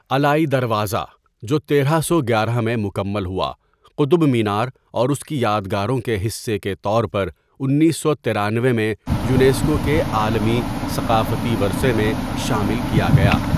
علائی دروازه، جو تیرہ سو گیارہ میں مکمل ہوا، قطب مینار اور اس کی یادگاروں کے حصے کے طور پر انیس سو ترانوے میں یونیسکو کے عالمی ثقافتی ورثے میں شامل کیا گیا ۔